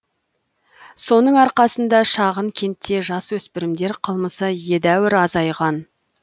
соның арқасында шағын кентте жасөспірімдер қылмысы едәуір азайған